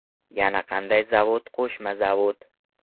Yana qanday zavod qo‘shma zavod.